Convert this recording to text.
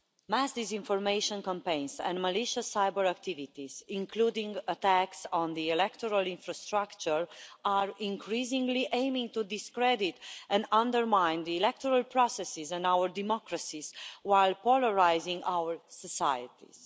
Mass disinformation campaigns and malicious cyber-activities, including attacks on the electoral infrastructure, are increasingly aiming to discredit and undermine the electoral processes and our democracies, while polarising our societies.